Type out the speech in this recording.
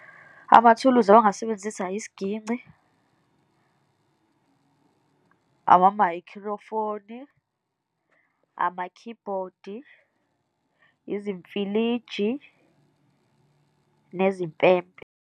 Amathuluzi abangasebenzisa isiginci, amamayikhrofoni, ama-keyboard-i, izimfiliji nezimpempe.